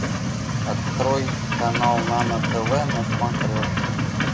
открой канал нано тв на смотрешке